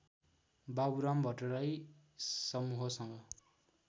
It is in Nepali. बाबुराम भट्टराई समूहसँग